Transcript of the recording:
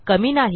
कमी नाही